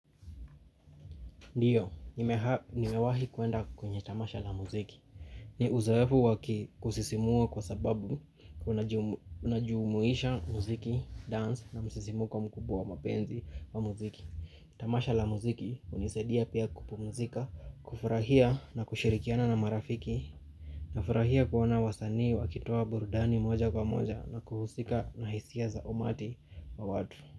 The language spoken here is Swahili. Ndiyo, nimewahi kuenda kwenye tamasha la muziki. Ni uzawafu waki kusisimua kwa sababu kuna jumuisha muziki, dance na musisimuko kwa mkubwa wa mapenzi wa muziki. Tamasha la muziki unisaidia pia kupu muzika, kufurahia na kushirikiana na marafiki. Nafurahia kuona wasanii wakitua burudani moja kwa moja na kuhusika na hisia za umati wa watu.